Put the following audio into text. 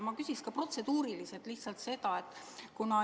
Ma küsin protseduurilise küsimusena seda.